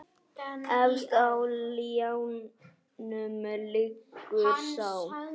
Efst á ljánum liggur sá.